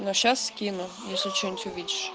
сейчас скину если что-нибудь увидешь